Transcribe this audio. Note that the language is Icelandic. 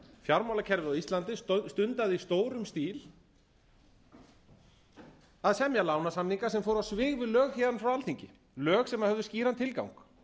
á íslandi stundaði í stórum stíl að semja lánasamninga sem fóru á svig við lög héðan frá alþingi lög sem höfðu skýran tilgang það má svo sem